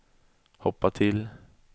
hoppa till